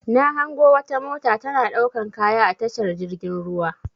Na hango wata mota tana ɗaukan kaya a tashar jirgin ruwa.